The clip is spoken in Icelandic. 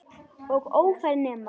Og ófær nema.